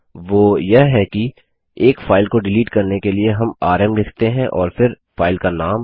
वो यह कि एक फाइल को डिलीट करने के लिए हम आरएम लिखते हैं और फिर फाइल का नाम